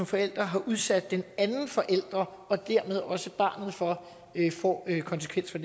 forælder har udsat den anden forælder og dermed også barnet for får konsekvenser